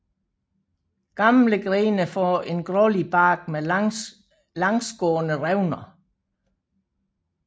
Gamle grene får en grålig bark med langsgående revner